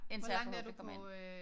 Indtil jeg forhåbentligt kommer ind